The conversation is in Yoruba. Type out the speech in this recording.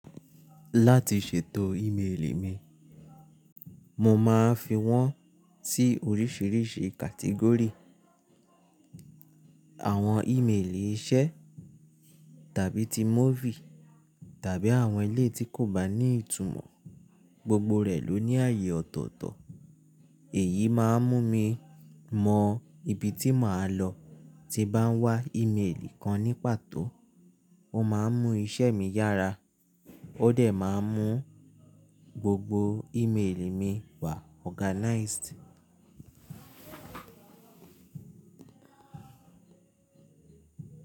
Láti ṣètò ímeèlì mi, mo máa fi wọ́n sí oríṣiríṣi category. Àwọn ímeèlì iṣẹ́ tàbí ti movie tàbí àwọn eleyi tí kò bá ní ìtumọ̀, gbogbo rẹ̀ ló ní àyè ọ̀tọ̀ọ̀tọ̀. Èyí máa ń mú mi mọ ibi tí màá lọ tí bá ń wá ímeèlì kan ní pàtó. Ó máa ń mú iṣẹ́ mi yára, ó dẹ̀ máa ń mú gbogbo ímeèlì mi wà organized.